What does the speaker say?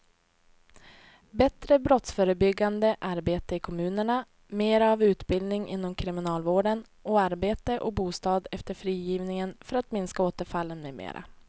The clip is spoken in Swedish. Bättre brottsförebyggande arbete i kommunerna, mera av utbildning inom kriminalvården och arbete och bostad efter frigivningen för att minska återfallen med mera.